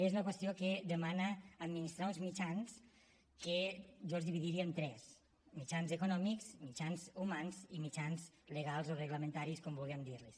és una qüestió que demana administrar uns mitjans que jo els dividiria en tres mitjans econòmics mitjans humans i mitjans legals o reglamentaris com vulguem dir los